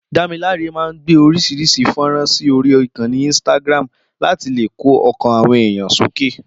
Dámiláre máa ń gbé orís̩irís̩i fó̩nrán sí orí ìkanni instagram láti lè kó o̩kàn àwo̩n èèyàn sókè